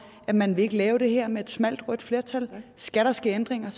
at man ikke vil lave det her med et smalt rødt flertal skal der ske ændringer